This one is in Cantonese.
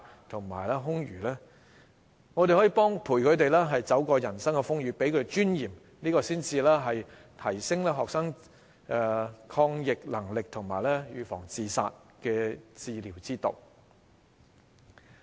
我們可以陪伴他們走過人生的風雨，給他們尊嚴，這才是提升學生抗逆能力和預防自殺的治療之道。